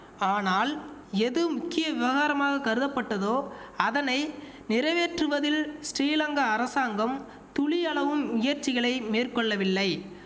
ஆனால் எது முக்கிய விவகாரமாக கருதப்பட்டதோ அதனை நிறைவேற்றுவதில் ஸ்டீலங்கா அரசாங்கம் துளியளவும் முயற்சிகளை மேற்கொள்ளவில்லை